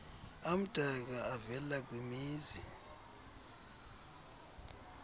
amdaka avela kwimizi